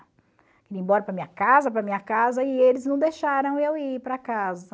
ir embora para a minha casa, para a minha casa, e eles não deixaram eu ir para casa.